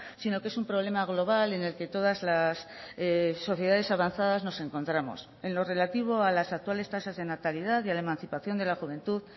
sino que es un problema global en el que todas las sociedades avanzadas nos encontramos en lo relativo a las actuales tasas de natalidad y a la emancipación de la juventud